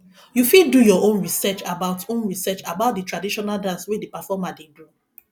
you fit do your own research about own research about di traditional dance wey di performer dey do